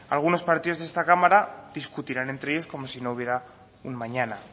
algunos partidos de esta cámara discutirán entre ellos como si no hubiera un mañana